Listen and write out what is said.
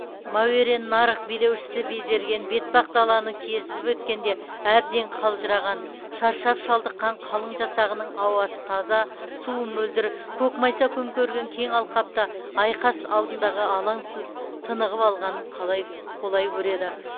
мәуереннарһ билеушісі безерген бетпақдаланы кесіп өткенде әбден қалжыраған шаршап шалдыққан қалың жасағының ауасы таза суы мөлдір көкмайса көмкерген кең алқапта айқас алдындағы алаңсыз тынығып алғанын қолай көреді